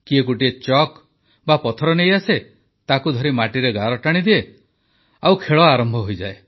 କିଏ ଗୋଟିଏ ଚକ୍ ବା ପଥର ନେଇଆସେ ତାକୁ ଧରି ମାଟିରେ ଗାର ଟାଣିଦିଏ ଆଉ ଖେଳ ଆରମ୍ଭ ହୋଇଯାଏ